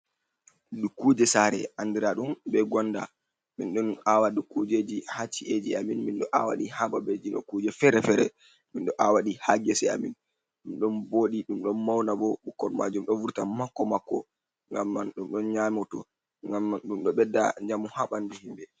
Dukkuje sare andira ɗum be gonda min ɗon awado kujeji hacci’eji amin, minɗo awaɗi ha babejino kuje fere-fere. Mindo awadi ha ngese amin ɗum don bodi dum don mauna bo bukkol majum do vurta mako mako gam man dum don nyamoto, gamman dum do bedda jamu habandu himbe.